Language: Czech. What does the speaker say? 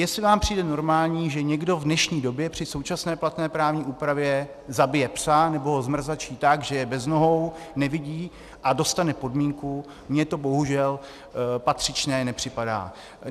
Jestli vám přijde normální, že někdo v dnešní době při současné platné právní úpravě zabije psa nebo ho zmrzačí tak, že je bez nohou, nevidí, a dostane podmínku - mně to bohužel patřičné nepřipadá.